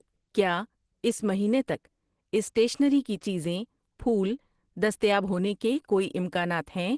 کیا اس مہینے تک اسٹیشنری کی چیزیں ، پھول دستیاب ہونے کے کوئی امکانات ہیں؟